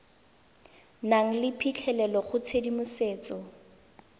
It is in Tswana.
nang le phitlhelelo go tshedimosetso